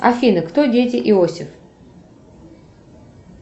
афина кто дети иосиф